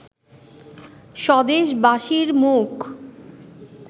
স্বদেশবাসীর মুখ